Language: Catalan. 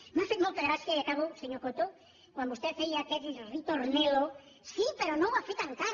m’ha fet molta gràcia i acabo senyor coto quan vostè feia aquest ritornello sí però no ho ha fet encara